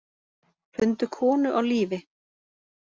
Fundu konu á lífi